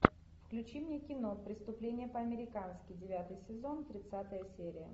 включи мне кино преступление по американски девятый сезон тридцатая серия